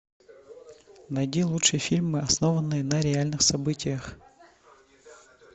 найди лучшие фильмы основанные на реальных событиях